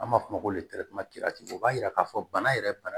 An b'a fɔ o ma ko o b'a yira k'a fɔ bana yɛrɛ bana